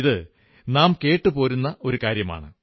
ഇത് നാം കേട്ടു പോരുന്ന കാര്യമാണ്